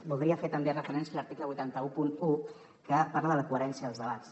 voldria fer també referència a l’article vuit cents i onze que parla de la coherència dels debats